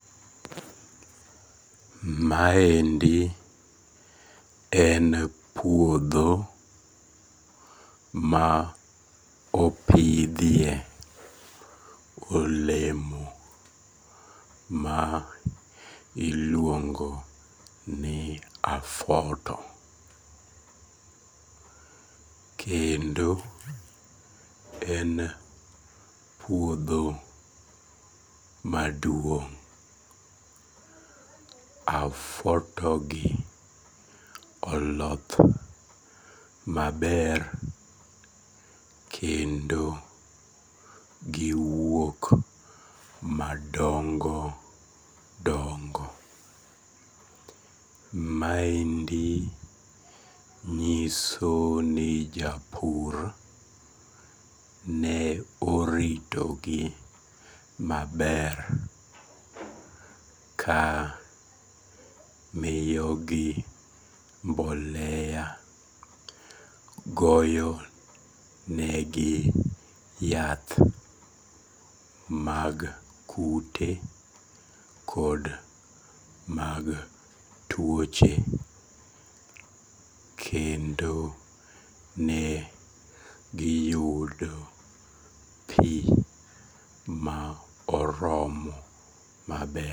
Maendi en puodho ma opidhie olemo ma iluongo ni afuoto kendo en puodho maduong', afuotogi oloth maber kendo giwuok madongo dongo, maendi nyiso ni japur ne oritogi maber ka miyogi mbolea, goyonegi yath mag kute kod mag tuoche kendo ne giyudo pi ma oromo maber